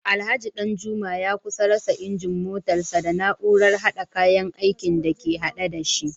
Alhaji Danjuma ya kusa rasa injin motarsa ​​da na’urar hada kayan aikin da ke hade da shi